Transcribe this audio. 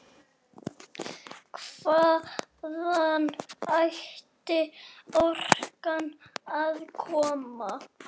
Hvaðan ætti orkan að koma?